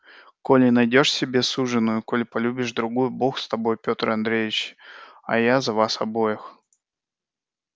коли найдёшь себе суженую коли полюбишь другую бог с тобою петр андреич а я за вас обоих